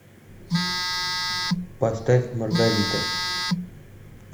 поставь маргарита